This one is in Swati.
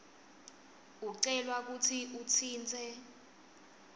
ucelwa kutsi utsintse